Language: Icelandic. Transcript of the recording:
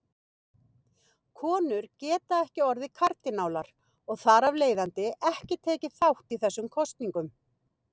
Konur geta ekki orðið kardínálar og þar af leiðandi ekki tekið þátt í þessum kosningum.